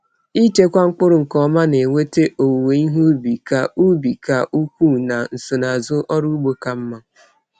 Ịchekwa mkpụrụ nke ọma na-eweta owuwe ihe ubi ka ubi ka ukwuu na nsonaazụ ọrụ ugbo ka mma.